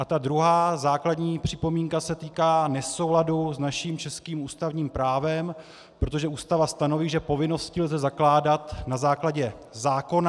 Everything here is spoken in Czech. A ta druhá základní připomínka se týká nesouladu s naším českým ústavním právem, protože Ústava stanoví, že povinnosti lze zakládat na základě zákona.